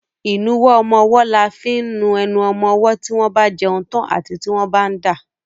Ìnuwọ́ ọmọwọ́ là fi ń nu enu ọmọmọ́ tí wọ́n bá jẹun tán àbí tí wọ́n bá ń dà.